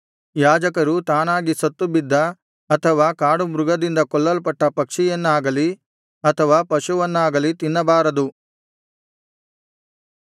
ಯಾಜಕರು ತಾನಾಗಿ ಸತ್ತು ಬಿದ್ದ ಅಥವಾ ಕಾಡುಮೃಗದಿಂದ ಕೊಲ್ಲಲ್ಪಟ್ಟ ಪಕ್ಷಿಯನ್ನಾಗಲಿ ಅಥವಾ ಪಶುವನ್ನಾಗಲಿ ತಿನ್ನಬಾರದು